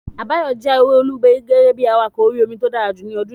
Àbáyọ̀mí jáwé olùborí gẹ́gẹ́ bí awakọ̀ orí-omi tó dára jù ọdún yìí